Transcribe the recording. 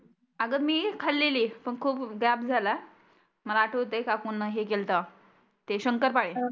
आग मी खालेली पण खुप गॅप झाला मला आठवतय काकुंना हे केलत ते शंकरपाळे